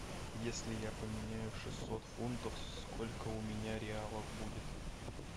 если я поменяю шестьсот фунтов сколько у меня реалов будет